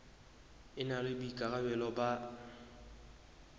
e na le boikarabelo ba